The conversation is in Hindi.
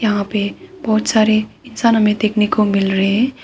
यहां पे बहोत सारे इंसान हमे देखने को मिल रहे हैं।